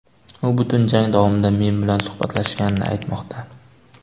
U butun jang javomida men bilan suhbatlashganini aytmoqda.